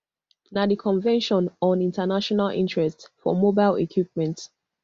na di convention on international interests for mobile equipment